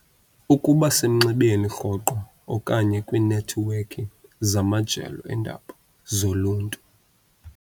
Ukuba semnxebeni rhoqo okanye kwiinethiwekhi zamajelo eendaba zoluntu.